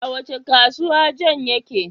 A wace kasuwa John yake?